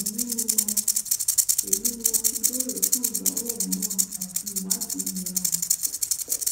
èyí ni mo èyí ni mo fi béèrè fún ìdánwò hormone àti ìwádìí míràn